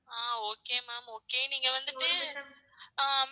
ஆஹ் okay ma'am okay நீங்க வந்துட்டு ah ma'am